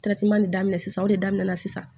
daminɛ sisan o de daminɛna sisan